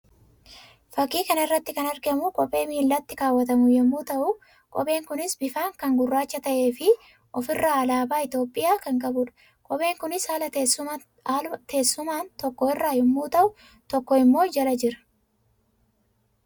Fakkii kana irratti kan argamu kophee miillatti kaawwatamu yammuu ta'u; kopheen kunis bifaan kan gurraacha ta'ee fi of irraa alaabaa Itoophiyaa kan qabuudha. Kopheen kunis haala teessumaan tokko irra yammuu ta'u, tokko immoo jala jira.